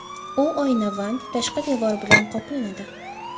U oynavand tashqi devor bilan qoplanadi.